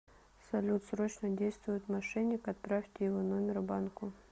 салют срочно действует мошенник отправьте его номер банку